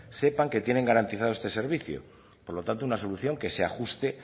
sepan que tienen garantizados este servicio por lo tanto una solución que se ajuste